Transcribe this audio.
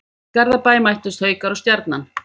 Í Garðabæ mættust Haukar og Stjarnan.